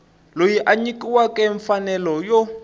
loyi a nyikiweke mfanelo yo